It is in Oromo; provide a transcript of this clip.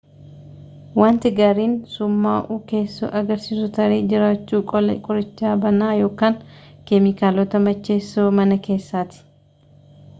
wanti gaariin summa'uu keessoo agarsiisu tarii jiraachuu qola qorichaa banaa yookaan keemikaalota macheeessoo mana keessaati